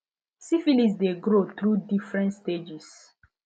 syphilis de grow through different stages